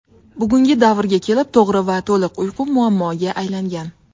Bugungi davrga kelib to‘g‘ri va to‘liq uyqu muammoga aylangan.